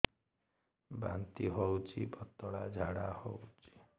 ବାନ୍ତି ହଉଚି ପତଳା ଝାଡା ହଉଚି